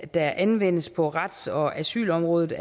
der anvendes på rets og asylområdet